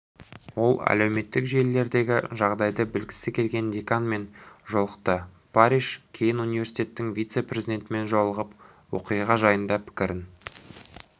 ол әлеуметтік желілердегі жағдайды білгісі келген деканмен жолықты парриш кейін университеттің вице-президентімен жолығып оқиға жайында пікірін